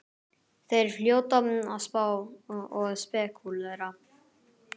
Þeir hljóta að spá og spekúlera!